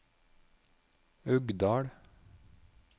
Uggdal